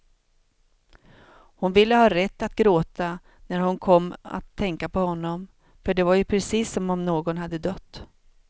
Hon ville ha rätt att gråta när hon kom att tänka på honom, för det var ju precis som om någon hade dött.